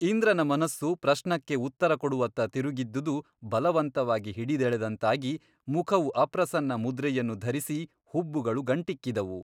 ಇಂದ್ರನ ಮನಸ್ಸು ಪ್ರಶ್ನಕ್ಕೆ ಉತ್ತರ ಕೊಡುವತ್ತ ತಿರುಗಿದ್ದುದು ಬಲವಂತವಾಗಿ ಹಿಡಿದೆಳೆದಂತಾಗಿ ಮುಖವು ಅಪ್ರಸನ್ನ ಮುದ್ರೆಯನ್ನು ಧರಿಸಿ ಹುಬ್ಬುಗಳು ಗಂಟಿಕ್ಕಿದುವು.